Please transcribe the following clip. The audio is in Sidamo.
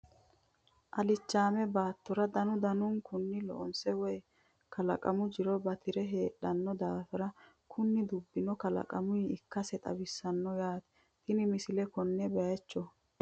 Alichaame baattora danu danunkunni loonsse woy kalaqammu jiro batira heedhanno daaffira kunni dubbinno kalaqammuyiha ikkasi xawissanno yaatte tini misile konne bayiichcho